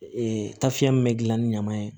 Ee tafiyɛn min be gilan ni ɲaman ye